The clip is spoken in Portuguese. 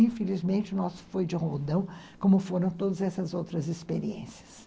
Infelizmente, o nosso foi de rodão, como foram todas essas outras experiências.